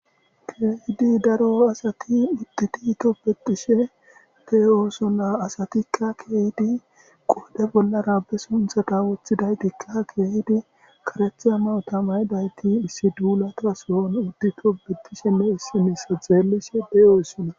keehidi daro asati mititi tobetishe de oosona asatikka keehdi qoode bollara be sunthata woththidaytikka keehidi karetha mawtamay dayti issi duulata soon uddi tobetisheme issimessa zeellishe deyoossonna